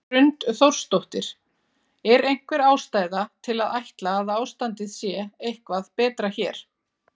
Hrund Þórsdóttir: Er einhver ástæða til að ætla að ástandið sé eitthvað betra hér?